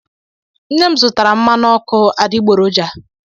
Nne m zụtara mmanụ ọkụ adịgboroj.